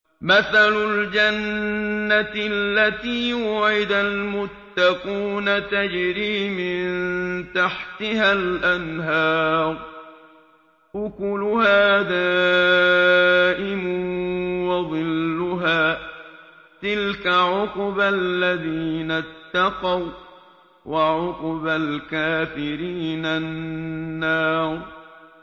۞ مَّثَلُ الْجَنَّةِ الَّتِي وُعِدَ الْمُتَّقُونَ ۖ تَجْرِي مِن تَحْتِهَا الْأَنْهَارُ ۖ أُكُلُهَا دَائِمٌ وَظِلُّهَا ۚ تِلْكَ عُقْبَى الَّذِينَ اتَّقَوا ۖ وَّعُقْبَى الْكَافِرِينَ النَّارُ